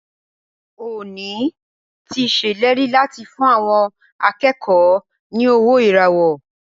Ọọ̀ni ti ṣèlérí láti fún àwọn akẹ́kọ̀ọ́ ní owó ìràwọ́.